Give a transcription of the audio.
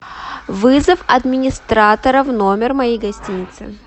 вызов администратора в номер моей гостиницы